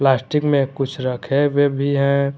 Plastic में कुछ रखे हुए भी हैं।